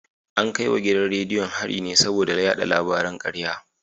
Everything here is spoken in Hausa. An kai wa gidan rediyon hari ne saboda yada labaran karya